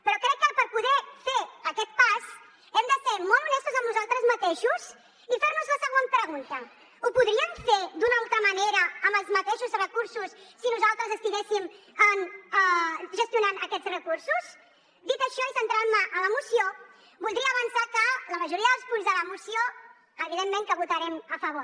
però crec que per poder fer aquest pas hem de ser molt honestos amb nosaltres mateixos i fer nos la següent pregunta ho podríem fer d’una altra manera amb els mateixos recursos si nosaltres estiguéssim gestionant aquests recursos dit això i centrant me en la moció voldria avançar que la majoria dels punts de la moció evidentment que els votarem a favor